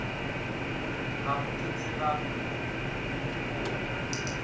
gago ke tseba go wa